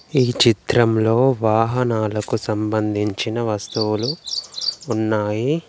ఈ చిత్రంలో వాహనాలకు సంబంధించిన వస్తువులు ఉన్నాయి.